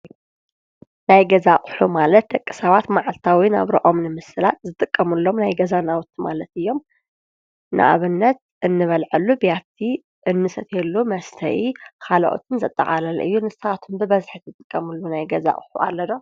ናይ ገዛ ኣቕሑ ማለት ደቂ ሳባት መዓልታዊ ናብሮኦም ንምስላጥ ዝጥቀሙሎም ናይ ገዛ ናውቲ ማለት እዮም፡፡ ንኣብነት እንበልዓሉ ብያቲ፣ እንሰትየሉ መስተይ ኻልኦትን ዘጠቓለለ እዩ፡፡ ንስኻትኩም ብበዝሒ ትጥቀሙሉ ናይ ገዛ ኣቑሑ ኣለ ዶ?